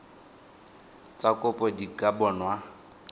tsa kopo di ka bonwa